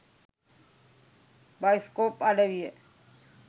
bioscope අඩවිය